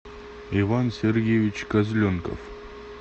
иван сергеевич козленков